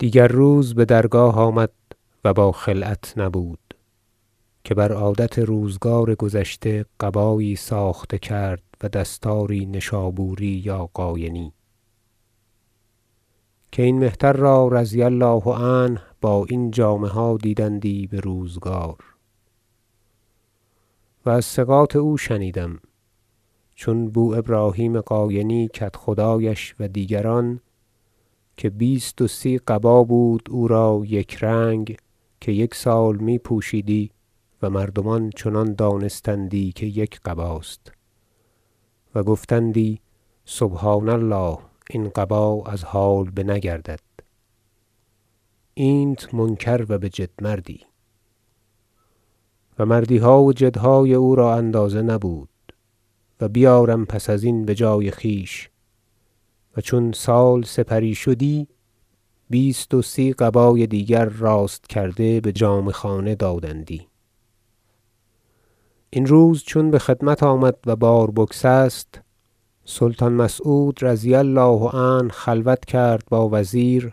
دیگر روز بدرگاه آمد و با خلعت نبود که بر عادت روزگار گذشته قبایی ساخته کرد و دستاری نیشابوری یا قاینی که این مهتر را رضی الله عنه با این جامه ها دیدندی بروزگار و از ثقات او شنیدم چون بو ابراهیم قاینی کدخدایش و دیگران که بیست و سی قبا بود او را یک رنگ که یک سال می پوشیدی و مردمان چنان دانستندی که یک قباست و گفتندی سبحان الله این قبا از حال بنگردد اینت منکر و بجد مردی - و مردیها و جدهای او را اندازه نبود و بیارم پس از این بجای خویش- و چون سال سپری شدی بیست و سی قبای دیگر راست کرده بجامه خانه دادندی این روز چون بخدمت آمد و بار بگسست سلطان مسعود رضی الله عنه خلوت کرد با وزیر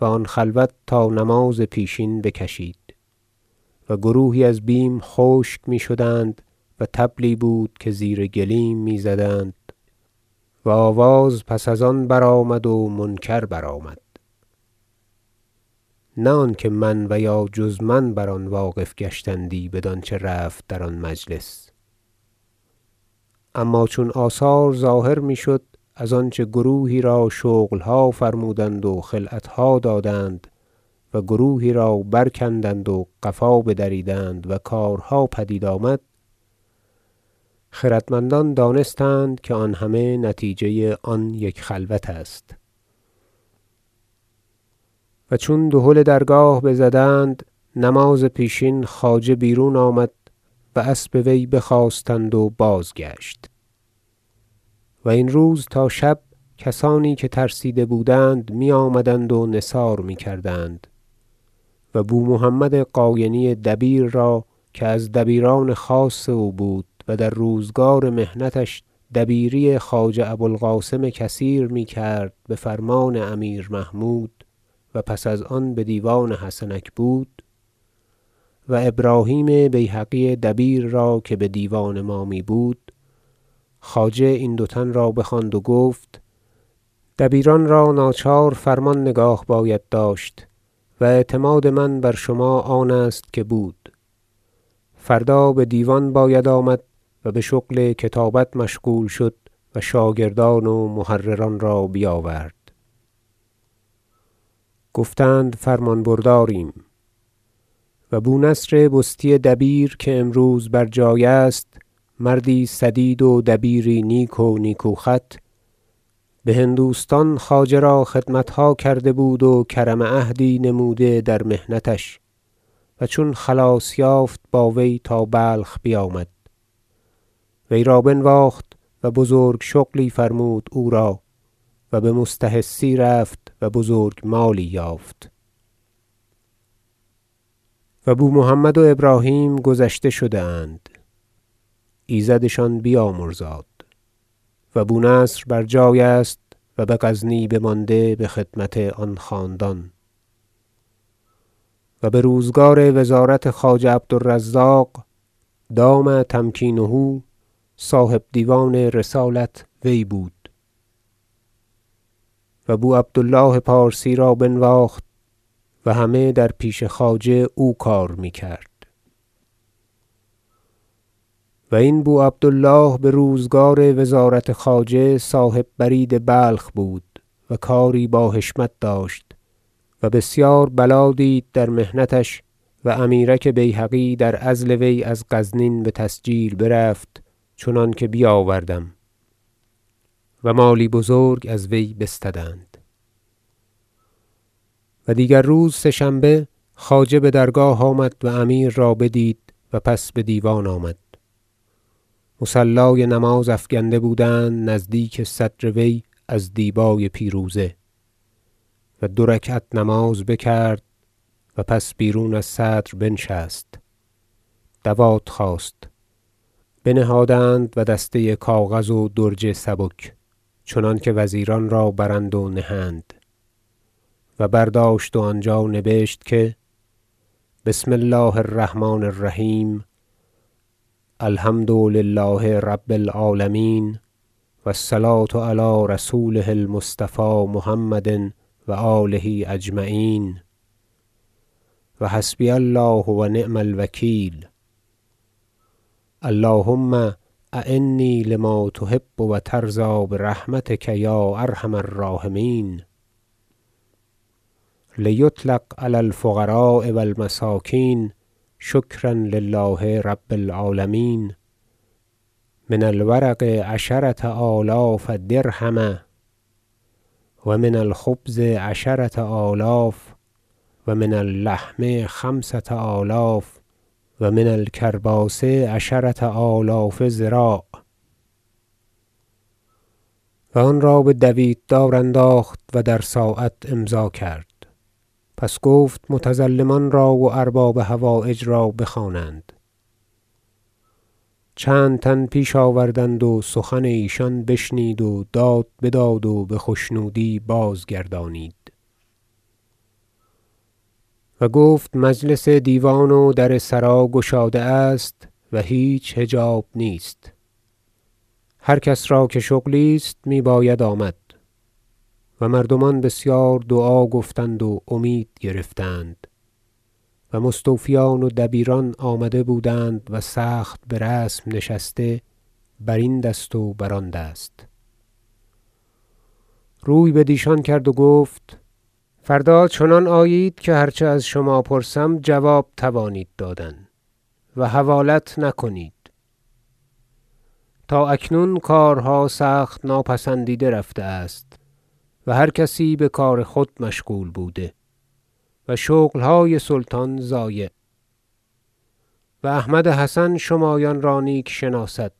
و آن خلوت تا نماز پیشین بکشید و گروهی از بیم خشک می شدند و طبلی بود که زیر گلیم میزدند و آواز پس از آن برآمد و منکر برآمد نه آنکه من و یا جز من بر آن واقف گشتندی بدان چه رفت در آن مجلس اما چون آثار ظاهر میشد از آنچه گروهی را شغلها فرمودند و خلعتها دادند و گروهی را برکندند و قفا بدریدند و کارها پدید آمد خردمندان دانستند که آن همه نتیجه آن یک خلوت است و چون دهل درگاه بزدند نماز پیشین خواجه بیرون آمد و اسب وی بخواستند و بازگشت و این روز تا شب کسانی که ترسیده بودند می آمدند و نثار میکردند و بو محمد قاینی دبیر را که از دبیران خاص او بود و در روزگار محنتش دبیری خواجه ابو القاسم کثیر میکرد بفرمان امیر محمود و پس از آن بدیوان حسنک بود و ابراهیم بیهقی دبیر را که به دیوان ما میبود خواجه این دو تن را بخواند و گفت دبیران را ناچار فرمان نگاه باید داشت و اعتماد من بر شما آن است که بود فردا بدیوان باید آمد و بشغل و کتابت مشغول شد و شاگردان و محرران را بیاورد گفتند فرمان برداریم و بو نصر بستی دبیر که امروز بر جای است مردی سدید و دبیری نیک و نیکو خط بهندوستان خواجه را خدمتها کرده بود و کرم عهدی نموده در محنتش و چون خلاص یافت با وی تا بلخ بیامد وی را بنواخت و بزرگ شغلی فرمود او را و بمستحثی رفت و بزرگ مالی یافت و بو محمد و ابراهیم گذشته شده اند ایزدشان بیامرزاد و بو نصر بر جای است و بغزنی بمانده بخدمت آن خاندان و بروزگار وزارت خواجه عبد الرزاق دام تمکینه صاحب دیوان رسالت وی بود و بو عبد الله پارسی را بنواخت و همه در پیش خواجه او کار میکرد و این بو عبد الله بروزگار وزارت خواجه صاحب برید بلخ بود و کاری باحشمت داشت و بسیار بلا دید در محنتش و امیرک بیهقی در عزل وی از غزنین بتسجیل برفت چنانکه بیاوردم و مالی بزرگ از وی بستدند و دیگر روز سه شنبه خواجه بدرگاه آمد و امیر را بدید و پس بدیوان آمد مصلای نماز افکنده بودند نزدیک صدر وی از دیبای پیروزه و دو رکعت نماز بکرد و پس بیرون از صدر بنشست دوات خواست بنهادند و دسته کاغذ و درج سبک چنانکه وزیران را برند و نهند و برداشت و آنجا نبشت که بسم الله الرحمن الرحیم الحمد لله رب العالمین و الصلوة علی رسوله المصطفی محمد و آله اجمعین و حسبی الله و نعم الوکیل اللهم اعنی لما تحب و ترضی برحمتک یا ارحم الراحمین لیطلق علی الفقراء و المساکین شکرا لله رب العالمین من الورق عشرة آلاف درهم و من الخبز عشرة آلاف و من اللحم خمسة آلاف و من الکرباس عشرة آلاف ذراع و آن را بدویت دار انداخت و در ساعت امضا کرد پس گفت متظلمان را و ارباب حوایج را بخوانند چندتن پیش آوردند و سخن ایشان بشنید و داد بداد و بخشنودی بازگردانید و گفت مجلس دیوان و در سرا گشاده است و هیچ حجاب نیست هر کس را که شغلی است می باید آمد و مردمان بسیار دعا گفتند و امید گرفتند و مستوفیان و دبیران آمده بودند و سخت برسم نشسته برین دست و بر آن دست روی بدیشان کرد و گفت فردا چنان آیید که هرچه از شما پرسم جواب توانید دادن و حوالت نکنید تا اکنون کارها سخت ناپسندیده رفته است و هرکسی بکار خود مشغول بوده و شغلهای سلطان ضایع و احمد حسن شمایان را نیک شناسد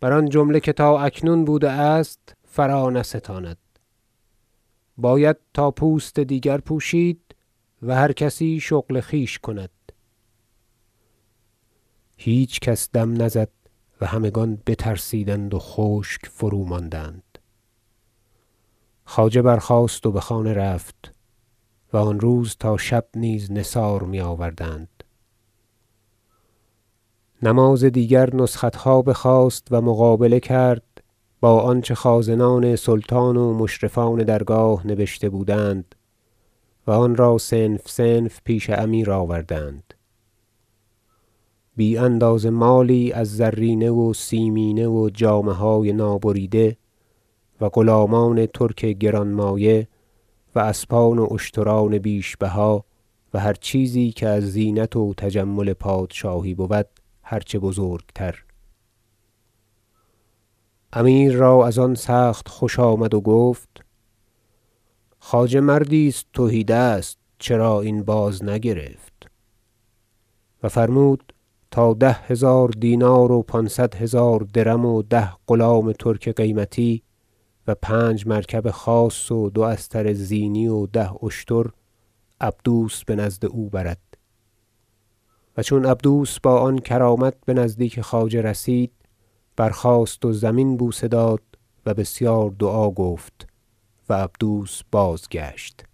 بر آن جمله که تا اکنون بوده است فرانستاند و باید تا پوست دیگر پوشید و هر کسی شغل خویش کند هیچ کس دم نزد و همگان بترسیدند و خشک فروماندند خواجه برخاست و بخانه رفت و آن روز تا شب نیز نثار میآوردند نماز دیگر نسختها بخواست و مقابله کرد با آنچه خازنان سلطان و مشرفان درگاه نبشته بودند و آن را صنف صنف پیش امیر آوردند بی اندازه مالی از زرینه و سیمینه و جامه های نابریده و غلامان ترک گران مایه و اسبان و اشتران بیش بها و هر چیزی که از زینت و تجمل پادشاهی بود هر چه بزرگ تر امیر را از آن سخت خوش آمد و گفت خواجه مردی است تهی دست چرا این بازنگرفت و فرمود تا ده هزار دینار و پانصد هزار درم و ده غلام ترک قیمتی و پنج مرکب خاص و دو استر زینی و ده اشتر عبدوس بنزد او برد چون عبدوس با آن کرامت بنزدیک خواجه رسید برخاست و زمین بوسه داد و بسیار دعا گفت و عبدوس بازگشت